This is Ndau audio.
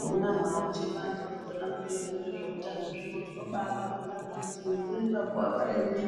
Vona havo nje vantu vakona vanoita nezve utano zvino tino baiva bonga ngekuti nge kuremba ko ava rembi